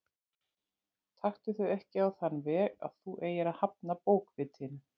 Taktu þau ekki á þann veg að þú eigir að hafna bókvitinu.